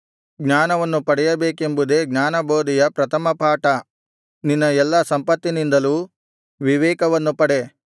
ಜ್ಞಾನವನ್ನು ಪಡೆಯಬೇಕೆಂಬುದೇ ಜ್ಞಾನಬೋಧೆಯ ಪ್ರಥಮಪಾಠ ನಿನ್ನ ಎಲ್ಲಾ ಸಂಪತ್ತಿನಿಂದಲೂ ವಿವೇಕವನ್ನು ಪಡೆ